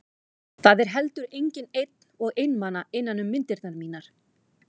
Það er heldur enginn einn og einmana innan um myndirnar mínar.